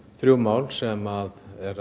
þrjú mál sem